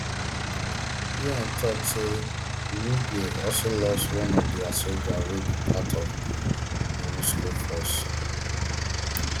un tok say uruguay also lost one of dia sojas wey be part of di monusco force